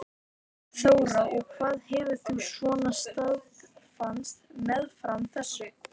Þóra: Og hvað hefur þú svona starfað meðfram þessu?